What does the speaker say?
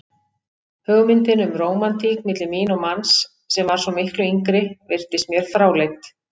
Hugmyndin um rómantík milli mín og manns sem var svo miklu yngri virtist mér fráleit.